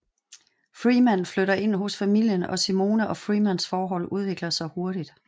Freeman flytter ind hos familien og Simone og Freemans forhold udvikler sig hurtigt